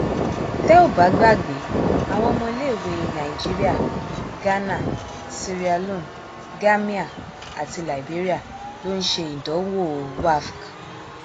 tẹ ò bá gbàgbé àwọn ọmọléèwé nàìjíríà ghana sierra leone gàmíà àti liberia ló ń ṣe ìdánwò wafc